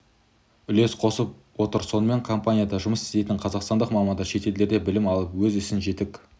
үлес қосып отыр сонымен компанияда жұмыс істейтін қазақстандық мамандар шетелдерде білім алып өз ісін жетік